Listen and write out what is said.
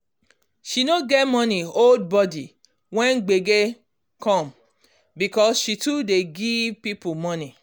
she no get money hold body when gbege come because she too dey give people money